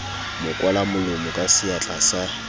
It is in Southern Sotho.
mo kwalamolomo ka seatla sa